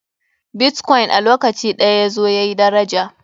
Bitkoin a lokaci ɗaya yazo yayi daraja.